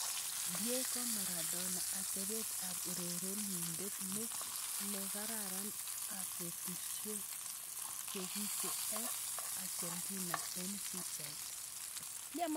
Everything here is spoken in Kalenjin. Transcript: Diego Maradona: Atepet ab urerenindet ni ne kararan ab betusiek chikiche ab Argentina eng pichait.